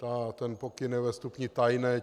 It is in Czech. Ten pokyn je ve stupni tajné.